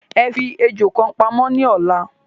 Ẹ fi ejò kan pamó ní ọ̀la